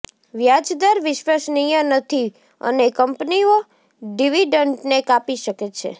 વ્યાજદર વિશ્વસનીય નથી અને કંપનીઓ ડિવિડન્ડને કાપી શકે છે